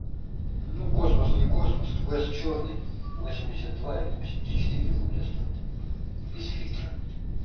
ну космос не космос вест чёрный восемьдесят два или восемьдесят четыре рубля стоит без фильтра